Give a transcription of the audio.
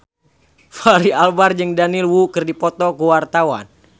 Fachri Albar jeung Daniel Wu keur dipoto ku wartawan